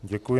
Děkuji.